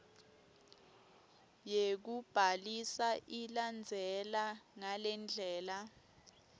yekubhalisa ilandzela ngalendlela